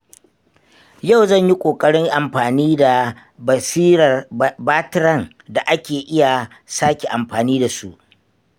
Yau zan yi ƙoƙarin amfani da batiran da ake iya sake amfani da su.